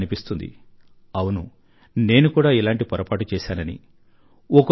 మీక్కూడా అనిపిస్తుంది అవును నేను కూడా ఇలాంటి పొరపాటు చేశానని